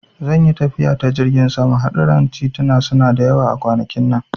Zan yi tafiya ta jirgin sama, hadurran tituna suna da yawa a kwanakin nan.